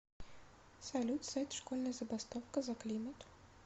салют сайт школьная забастовка за климат